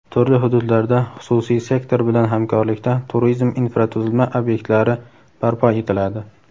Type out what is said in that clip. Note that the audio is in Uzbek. turli hududlarda xususiy sektor bilan hamkorlikda turizm infratuzilma ob’ektlari barpo etiladi.